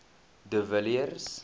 de villiers